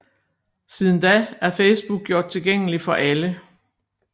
Siden da er Facebook gjort tilgængelig for alle